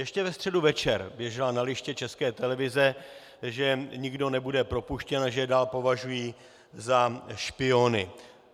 Ještě ve středu večer běželo na liště České televize, že nikdo nebude propuštěn a že je dál považují za špiony.